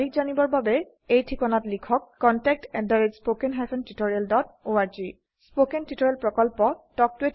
অধিক তথ্যৰ বাবে লিখক contactspoken tutorialorg স্পোকেন টিউটোৰিয়েল প্ৰকল্প তাল্ক ত a টিচাৰ প্ৰকল্পৰ এটা অংগ